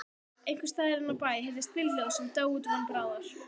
Einhversstaðar inní bæ heyrðist bílhljóð sem dó út von bráðar.